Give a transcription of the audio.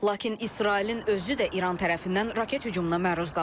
Lakin İsrailin özü də İran tərəfindən raket hücumuna məruz qalıb.